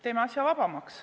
Teeme asja vabamaks.